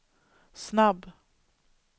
snabb